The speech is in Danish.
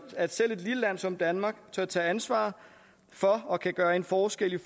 at selv et lille land som danmark tør tage ansvar for og kan gøre en forskel i